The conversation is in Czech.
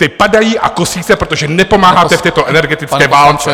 Ty padají a kosí se, protože nepomáháte v této energetické válce.